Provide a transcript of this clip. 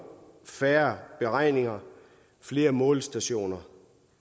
færre beregninger flere målestationer